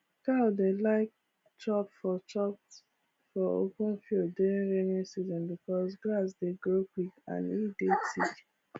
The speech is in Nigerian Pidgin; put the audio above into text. cow dey like chop for chop for open field during rainy season becos grass dey grow quick and e dey thick